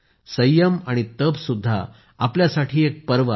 संयम आणि तप सुद्धा आपल्यासाठी एक पर्व आहे